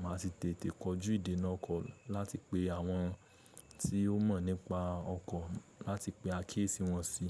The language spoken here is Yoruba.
Mà á ti tètè kojú ìdènà ọkọ̀ láti pe àwọn tí ó mọ̀ nípa ọkọ̀, láti pe akiyesì wọn si.